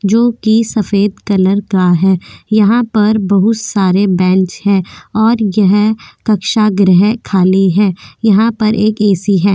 जो की सफ़ेद कलर का है यहा पर बहुत सारे बेंच है और यह कक्षा गृह खाली है यहा पर एक ऐ.सी. है।